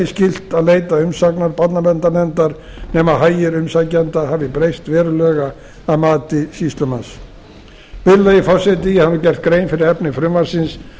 skylt að leita umsagnar barnaverndarnefndar nema hagir umsækjenda hafi breyst verulega að mati sýslumanns virðulegi forseti ég hef nú gert grein fyrir efni frumvarpsins og